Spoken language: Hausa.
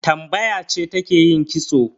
Tambaya ce take yin kitso.